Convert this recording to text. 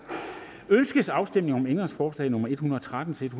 ønskes afstemning om ændringsforslag nummer en hundrede og tretten til